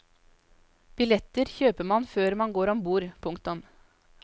Billetter kjøper man før man går ombord. punktum